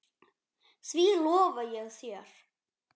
Því lofa ég þér.